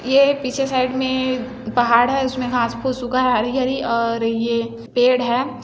ये एक पीछे साईड में पहाड़ है उसमे घास-फुस्स उगा है हरी-हरी और ये पेड़ है।